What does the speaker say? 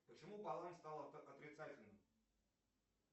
почему баланс стал отрицательным